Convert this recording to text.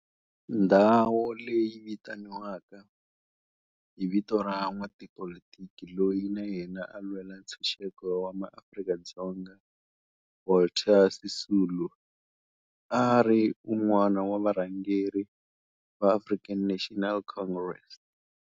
Ndhawo leyi yi vitaniwa hi vito ra n'watipolitiki loyi na yena a lwela ntshuxeko wa maAfrika-Dzonga Walter Sisulu, a ri wun'wana wa varhangeri va African National Congress.